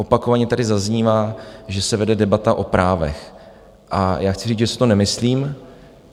Opakovaně tady zaznívá, že se vede debata o právech, a já chci říct, že si to nemyslím.